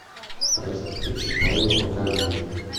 страсти по чапаю покажи